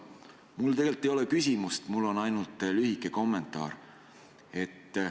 Mul tegelikult ei ole küsimust, mul on ainult lühike kommentaar.